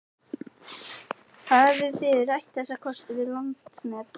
Hafið þið rætt þessa kosti við Landsnet?